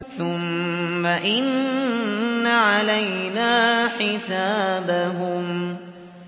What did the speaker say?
ثُمَّ إِنَّ عَلَيْنَا حِسَابَهُم